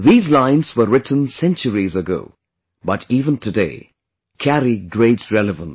These lines were written centuries ago, but even today, carry great relevance